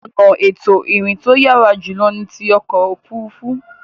Ọ̀nà ètò ìrìn to yàrá jùlọ ni ti ọkọ̀ òfuurufú.